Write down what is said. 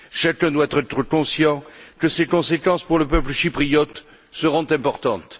Chacun doit être conscient que ses conséquences pour le peuple chypriote seront importantes.